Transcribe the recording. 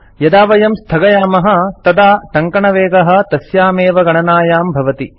यदा वयं स्थगयामः पॉज़ तदा टङ्कनवेगः तस्यामेव गणनायां भवति